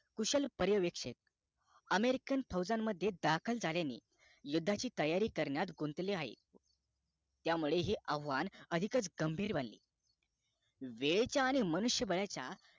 कुशल पर्यावेक्षक american फौजामध्ये दाखल झाल्याने युद्धाची तयारी करनार गुंतले आहे त्या मुळे हे आव्हान अधिकच गंभीर बनले वेळेच्या आणि मनुष्य बाळाच्या